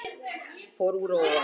Fór úr að ofan